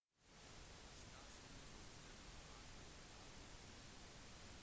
statsminister stephen harper har gått med på å sende regjeringens «ren luft-forslag»